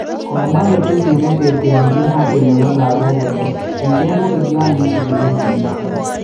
Komwa ketesiet ne teteanchin haki nebo lagook kole kicheeng ogiliot neisubi kesinoto